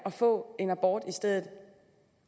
få en abort i stedet